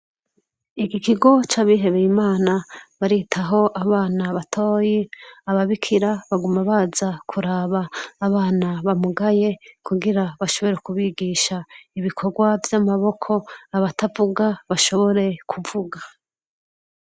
ikigo c' abihebeye imana baritaho abana batoyi ababikira baguma baza kuraba abana bamugaye kugira bashobore kubigisha ibikorwa vy' amaboko abatavuga bashobore kuvuga.